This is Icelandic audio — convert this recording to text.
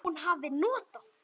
Hún hafi notað